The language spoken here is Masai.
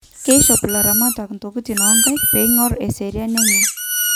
kishop ilaramatak ntokitin onkaik peingor eseriani enye